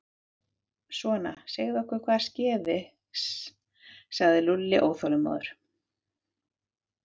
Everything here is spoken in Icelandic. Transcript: Svona, segðu okkur hvað skeði sagði Lúlli óþolinmóður.